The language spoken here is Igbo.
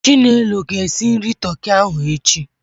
Chinelo ga-esi nri toki ahụ echi.